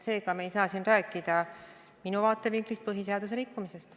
Seega me ei saa siin minu vaatevinklist rääkida põhiseaduse rikkumisest.